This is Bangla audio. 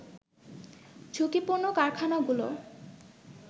ঝুঁকিপূর্ণ কারখানাগুলো